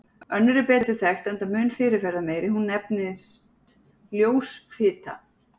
Önnur er betur þekkt enda mun fyrirferðarmeiri, hún nefnist ljós fita.